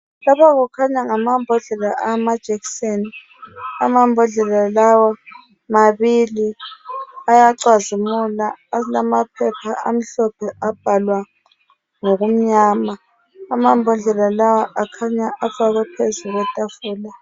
Lapha kukhanya ngamambodlela amajekiseni . Amambodlela lawa mabili, ayacazimula alamaphepha amhlophe abhalwa ngokumnyama. Amambodlela lawa akhanya afakwe phezulu kwetafula.